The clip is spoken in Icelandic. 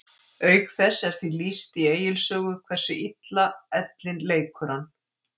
Auk þess er því lýst í Egils sögu hversu illa ellin leikur hann.